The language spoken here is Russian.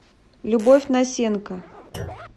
любовь насенко